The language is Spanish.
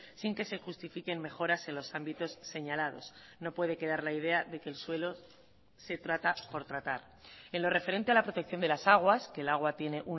sin que se justifiquen mejoras en los ámbitos señalados no puede quedar la idea de que el suelo se trata por tratar en lo referente a la protección de las aguas que el agua tiene